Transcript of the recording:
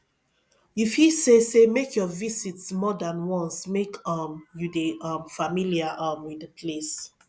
you fit say say make your visit more than once make um you de um familiar um with di place